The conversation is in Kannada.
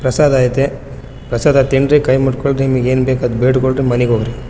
ಪ್ರಸಾದ ಐತೇ ಪ್ರಸಾದ ತಿನ್ರಿ ಕೈ ಮುಟ್ಕೊಳ್ರಿ ನಿಮಿಗ್ ಎನ್ ಬೇಕೊ ಆದ್ ಕೇಳ್ಕೊಳ್ರಿ ಮನಿಗ್ ಹೋಗ್ರಿ.